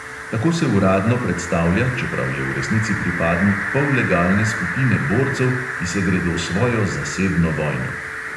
Tako se uradno predstavlja, čeprav je v resnici pripadnik pollegalne skupine borcev, ki se gredo svojo zasebno vojno.